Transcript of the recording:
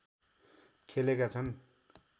खेलेका छन्